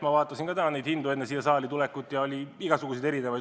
Ma vaatasin neid ka enne siia saali tulekut: oli igasuguseid.